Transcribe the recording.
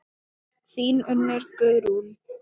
Þín Unnur Guðrún.